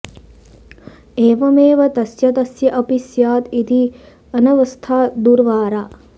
एवमेव तस्य तस्य अपि स्यात् इति अनवस्था दुर्वारा